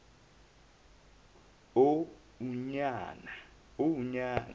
uonyana